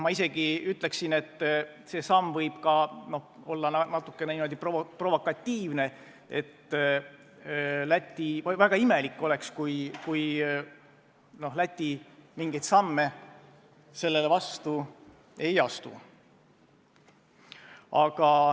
Ma isegi ütleksin, et see samm võib olla natukene provokatiivne, ja väga imelik oleks, kui Läti mingeid samme vastu ei astu.